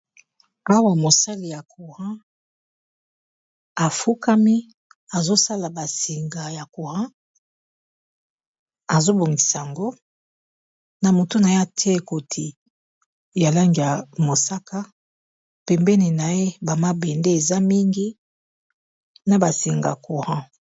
awa mosali ya courant afukami azosala basinga ya couran azobongisa yango na motuna ya te koti ya langiya mosaka pembene na ye bamabende eza mingi na basinga couran